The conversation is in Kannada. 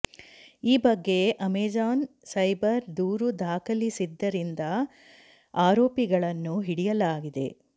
ಈ ಬಗ್ಗೆ ಅಮೆಜಾನ್ ಸೈಬರ್ ದೂರು ದಾಖಲಿಸಿದ್ದರಿಂದ ಆರೋಪಿಗಳನ್ನು ಹಿಡಿಯಲಾಗಿದೆ